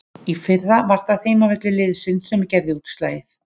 Í fyrra var það heimavöllur liðsins sem gerði útslagið.